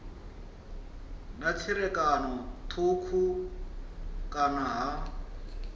na tserakano thukhu kana ha